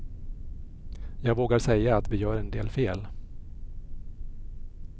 Jag vågar säga att vi gör en del fel.